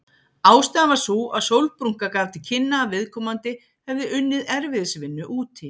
Ástæðan var sú að sólbrúnka gaf til kynna að viðkomandi hefði unnið erfiðisvinnu úti.